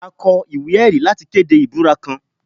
A kọ iwe-ẹri lati kede ibura kan